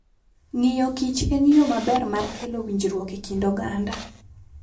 Ng'iyo Kich en yo maber mar kelo winjruok e kind oganda.